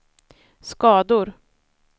skador